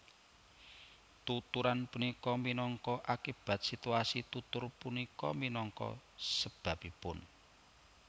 Tuturan punika minangka akibat situasi tutur punika minangka sebabipun